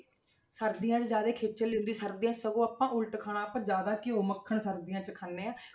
ਸਰਦੀਆਂ 'ਚ ਜ਼ਿਆਦੇ ਖੇਚਲ ਨੀ ਹੁੰਦੀ ਸਰਦੀਆਂ 'ਚ ਸਗੋਂ ਆਪਾਂ ਉਲਟ ਖਾਣਾ ਆਪਾਂ ਜ਼ਿਆਦਾ ਘਿਓ ਮੱਖਣ ਸਰਦੀਆਂ 'ਚ ਖਾਂਦੇ ਹਾਂ,